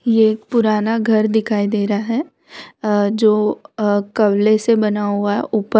ये एक पुराना घर दिखाई दे रहा है अ जो कबले से बना हुआ है ऊपर --